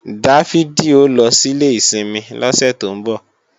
Dáfídì ó lọ sílé ìsinmi lọ́sẹ̀ tó ń bọ̀